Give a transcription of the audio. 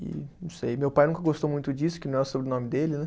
E não sei, meu pai nunca gostou muito disso, que não é o sobrenome dele, né?